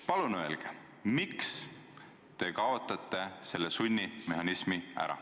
Palun öelge, miks te kaotate selle sunnimehhanismi ära.